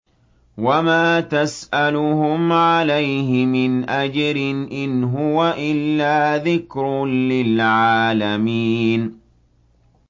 وَمَا تَسْأَلُهُمْ عَلَيْهِ مِنْ أَجْرٍ ۚ إِنْ هُوَ إِلَّا ذِكْرٌ لِّلْعَالَمِينَ